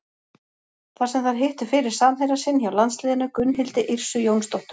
Þar sem þær hittu fyrir samherja sinn hjá landsliðinu, Gunnhildi Yrsu Jónsdóttur.